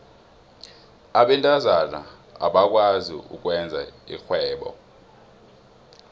abentazana abakwazi ukwenza irhwebo